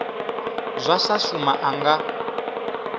zwa sa shuma a nga